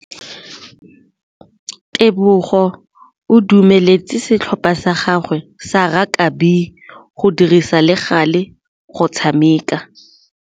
Tebogô o dumeletse setlhopha sa gagwe sa rakabi go dirisa le galê go tshameka.